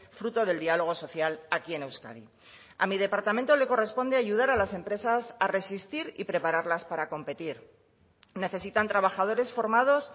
fruto del diálogo social aquí en euskadi a mi departamento le corresponde ayudar a las empresas a resistir y prepararlas para competir necesitan trabajadores formados